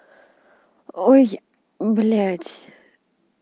ой блять